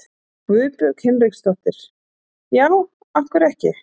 Guðbjörg Hinriksdóttir: Já, af hverju ekki?